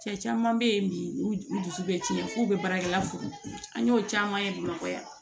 Cɛ caman bɛ yen bi u dusu bɛ tiɲɛ f'u bɛ baarakɛla fo an y'o caman ye bamakɔ yan